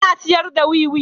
Yana sayar da wiwi.